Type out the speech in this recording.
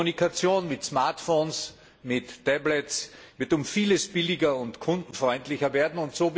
Die Kommunikation mit Smartphones, mit Tablets, wird um vieles billiger und kundenfreundlicher werden.